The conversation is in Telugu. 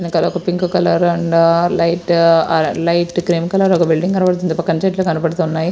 వెనకాల ఒక పింక్ కలర్ అండ్ లైట్ ఆ లైట్ క్రీం కలర్ ఒక బిల్డింగ్ కనబడుతుంది పక్కన చెట్లు కనబడుతున్నాయి.